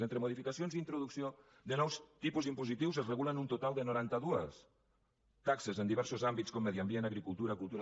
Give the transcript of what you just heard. entre modificacions i introducció de nous tipus impositius es regulen un total de noranta dues taxes en diversos àmbits com medi ambient agricultura cultura